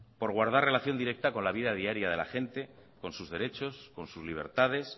por guardar relación directa con la vida diaria de la gente con sus derechos con sus libertades